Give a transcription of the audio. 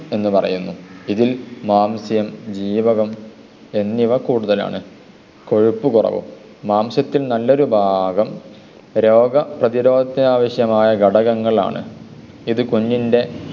എന്ന് പറയുന്നു. ഇതിൽ മാംസ്യം ജീവകം എന്നിവ കൂടുതലാണ്. കൊഴുപ്പു കുറവ്. മാംസ്യത്തിൽ നല്ലൊരു ഭാഗം രോഗപ്രധിരോധത്തിന് ആവശ്യമായ ഘടകങ്ങളാണ്. ഇത് കുഞ്ഞിൻ്റെ